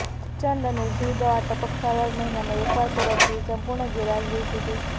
ચાંચડ અને જૂ દવા ટપક સારવાર મહિનામાં એકવાર પરોપજીવી સંપૂર્ણ ગેરહાજરી સુધી